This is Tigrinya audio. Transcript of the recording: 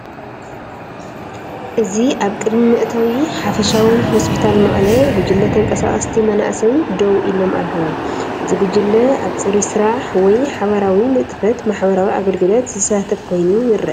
እዚ ኣብ ቅድሚ መእተዊ “ሓፈሻዊ ሆስፒታል መቐለ” ጉጅለ ተንቀሳቐስቲ መናእሰይ ደው ኢሎም ኣለዉ። እዚ ጉጅለ ኣብ ጽሩይ ስራሕ ወይ ሓባራዊ ንጥፈት ማሕበራዊ ኣገልግሎት ዝሳተፍ ኮይኑ ይረአ።